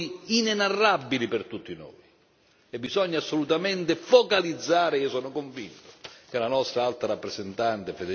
Bisogna assolutamente focalizzare, sono convinto che il nostro Alto rappresentante, Federica Mogherini, darà le risposte giuste.